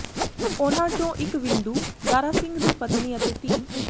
ਉਨ੍ਹਾਂ ਚੋਂ ਇੱਕ ਵਿੰਦੂ ਦਾਰਾ ਸਿੰਘ ਦੀ ਪਤਨੀ ਅਤੇ ਧੀ